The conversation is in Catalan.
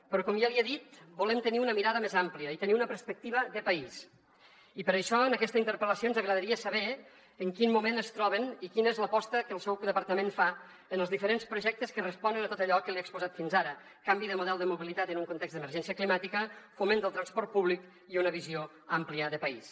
però com ja li he dit volem tenir una mirada més àmplia i tenir una perspectiva de país i per això en aquesta interpel·lació ens agradaria saber en quin moment es troben i quina és l’aposta que el seu departament fa en els diferents projectes que responen a tot allò que li he exposat fins ara canvi de model de mobilitat en un context d’emergència climàtica foment del transport públic i una visió àmplia de país